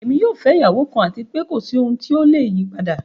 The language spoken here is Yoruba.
Ẹ̀mi yóò fẹ̀ iyàwọ kan àti pẹ̀ kòsí ohun tíó leyí padà.